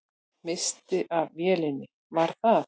Misstir af vélinni, var það?